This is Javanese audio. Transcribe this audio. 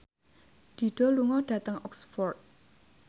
Dido lunga dhateng Oxford